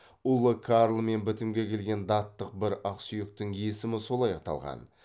ұлы карлмен бітімге келген даттық бір ақсүйектің есімі солай аталған